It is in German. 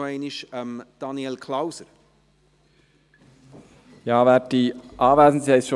Zweite Priorität heisst in diesem Fall aber, dass wir hoffen, diese am Donnerstagnachmittag noch behandeln zu können.